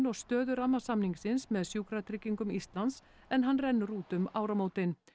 og stöðu rammasamningsins með Sjúkratryggingum Íslands en hann rennur út um áramótin